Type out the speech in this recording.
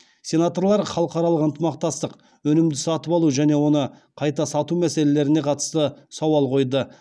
сенаторлар халықаралық ынтымақтастық өнімді сатып алу және оны қайта сату мәселелеріне қатысты сауал қойды